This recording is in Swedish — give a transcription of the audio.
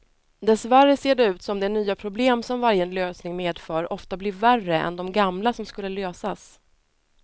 Dessvärre ser det ut som de nya problem som varje lösning medför ofta blir värre än de gamla som skulle lösas.